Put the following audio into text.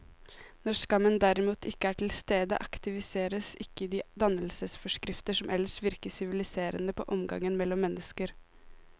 Når skammen derimot ikke er til stede, aktiveres ikke de dannelsesforskrifter som ellers virker siviliserende på omgangen mellom mennesker.